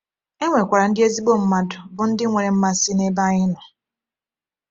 E nwekwara ndị ezigbo mmadụ bụ ndị nwere mmasị n’ebe anyị nọ.